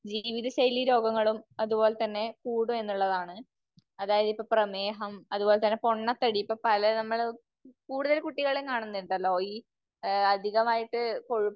ജീവിത ശൈലീരോഗങ്ങളും അത്പോലെ തന്നെ കൂടും എന്നുള്ളതാണ്. അതായത് ഇപ്പോ പ്രമേഹം, അത്പോലെ തന്നെ പൊണ്ണത്തടി, ഇപ്പോ പല നമ്മള് നമ്മൾ കൂടുതൽ കുട്ടികളിലും കാണുന്നുണ്ടല്ലോ. ഈ അധികമായിട്ട്